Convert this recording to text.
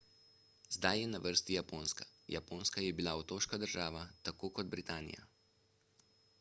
zdaj je na vrsti japonska japonska je bila otoška država tako kot britanija